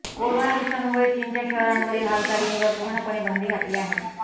corona विषाणूमुळे चीनच्या शहरांवरील हालचालींवर पूर्णपणे बंदी घातली आहे